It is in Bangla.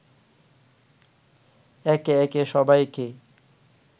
একে একে সবাইকে